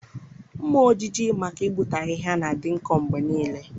Ḿmà ojiji maka igbutu ahịhịa na-adị nkọ mgbe niile.